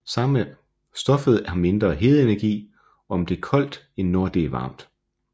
Stoffet har mindre hedeenergi om det er koldt end når det er varmt